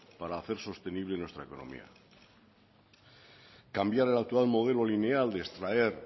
para hacer sostenible nuestra economía cambiar el actual modelo lineal de extraer